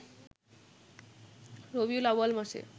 রবিউল আউয়াল মাসে